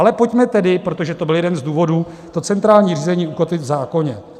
Ale pojďme tedy, protože to byl jeden z důvodů, to centrální řízení ukotvit v zákoně.